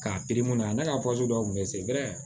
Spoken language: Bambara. K'a ne ka dɔw kun bɛ se